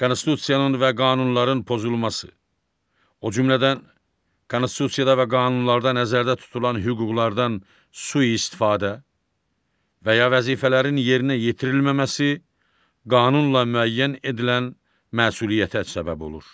Konstitusiyanın və qanunların pozulması, o cümlədən Konstitusiyada və qanunlarda nəzərdə tutulan hüquqlardan sui-istifadə və ya vəzifələrin yerinə yetirilməməsi qanunla müəyyən edilən məsuliyyətə səbəb olur.